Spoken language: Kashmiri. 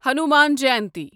ہنومان جَینتی